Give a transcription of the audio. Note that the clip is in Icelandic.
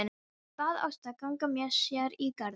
Hann bað Ástu að ganga með sér í garðinn.